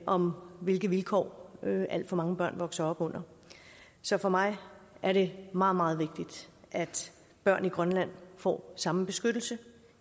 om hvilke vilkår alt for mange børn vokser op under så for mig er det meget meget vigtigt at børn i grønland får samme beskyttelse